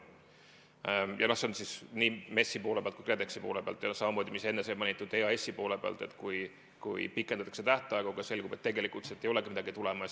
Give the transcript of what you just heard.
Ja nii MES-i poole pealt kui ka KredExi poole pealt, samamoodi, nagu sai enne mainitud, EAS-i poole pealt saab tähtaegade pikendamise otsuseid üle vaadata, kui selgub, et tegelikult sealt ei olegi midagi tulemas.